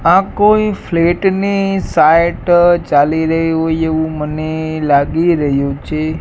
આ કોઈ ફ્લેટ ની સાઇટ ચાલી રહી હોઇ એવુ મને લાગી રહ્યુ છે.